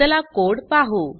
चला कोड पाहु